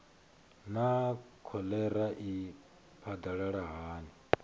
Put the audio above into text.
naa kholera i phadalala hani